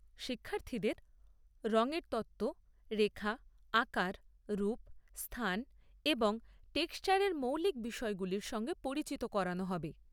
শিক্ষার্থীদের রঙ এর তত্ত্ব, রেখা, আকার, রূপ, স্থান এবং টেক্সচারের মৌলিক বিষয়গুলির সঙ্গে পরিচিত করানো হবে।